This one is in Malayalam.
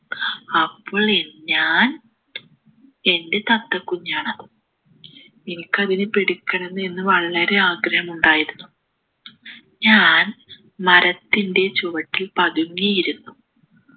അപ്പോൾ ഞാൻ എൻ്റെ തത്ത കുഞ്ഞാണത് എനിക്ക് അതിനെ പിടിക്കണം എന്ന് വളരെ ആഗ്രഹമുണ്ടായിരുന്നു ഞാൻ മരത്തിൻ്റെ ചുവട്ടിൽ പതുങ്ങിയിരുന്നു